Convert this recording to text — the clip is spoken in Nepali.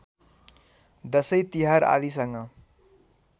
दशैँ तिहार आदिसँग